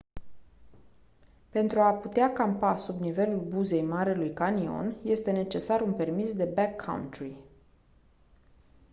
pentru a putea campa sub nivelul buzei marelui canion este necesar un permis de backcountry